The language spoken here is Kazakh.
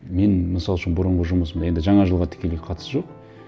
мен мысал үшін бұрынғы жұмысымда енді жаңа жылға тікелей қатысы жоқ